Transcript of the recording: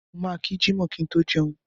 Mo máa kí jímọ̀ kí n tó jẹun.